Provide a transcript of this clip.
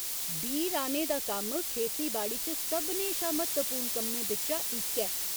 बीऽ राह्‌ने दा कम्म खेती बाड़ी च सभनें शा म्हत्तवपूर्ण कम्में बिच्चा इक ऐ।